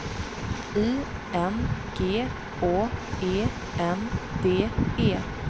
I N G Å E N D E